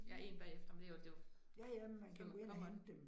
Jeg 1 bagefter, men det jo det jo, man kommer